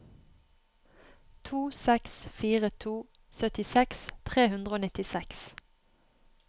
to seks fire to syttiseks tre hundre og nittiseks